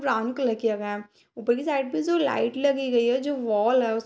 brown colour किया गया है ऊपर की साइड पे जो लाइट लगी गई है जो वॉल है उस --